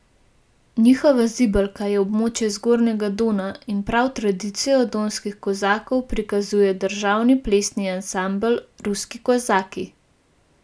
Njihova zibelka je območje Zgornjega Dona in prav tradicijo donskih kozakov prikazuje Državni plesni ansambel Ruski kozaki.